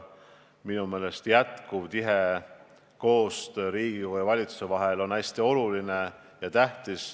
Minu meelest on edasine tihe koostöö Riigikogu ja valitsuse vahel hästi oluline.